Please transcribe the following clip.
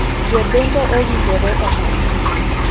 Jo bembo owinjore omaki.